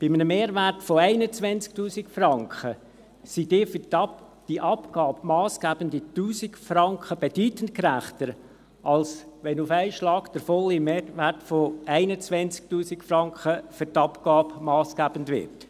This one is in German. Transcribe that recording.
Bei einem Mehrwert von 21 000 Franken sind die für die Abgabe massgebenden 1000 Franken bedeutend gerechter, als wenn auf einen Schlag der volle Mehrwert von 21 000 Franken für die Abgabe massgebend wird.